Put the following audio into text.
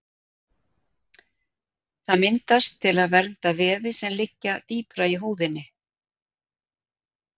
Það myndast til að vernda vefi sem liggja dýpra í húðinni.